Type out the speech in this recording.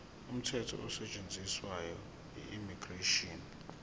umthetho osetshenziswayo immigration